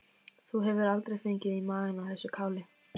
Þú hefur aldrei fengið í magann af þessu káli?